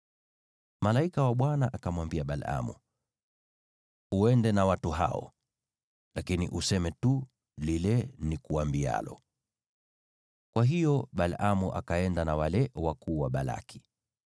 Malaika wa Bwana akamwambia Balaamu, “Uende na watu hao, lakini useme tu lile nikuambialo.” Kwa hiyo Balaamu akaenda na wale wakuu wa Balaki.